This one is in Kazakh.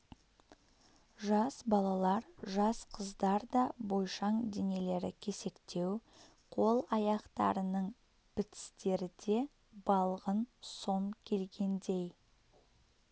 жас балалар жас қыздар да бойшаң денелері кесектеу қол-аяқтарының бітістері де балғын сом келгендей